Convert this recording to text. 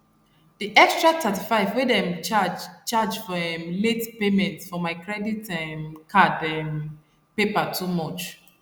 d extra 35 wey dem charge charge for um late payment for my credit um card um paper too much